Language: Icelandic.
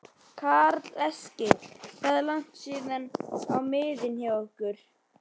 Karl Eskil: Hvað er langt stím á miðin hjá ykkur?